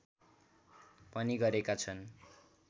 पनि गरेका छन्